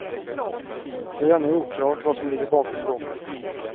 Det är ännu oklart vad som ligger bakom bråket.